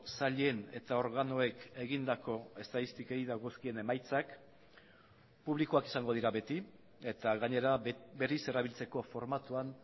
sailen eta organoek egindako estatistikei dagozkien emaitzak publikoak izango dira beti eta gainera berriz erabiltzeko formatuan